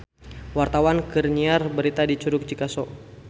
Wartawan keur nyiar berita di Curug Cikaso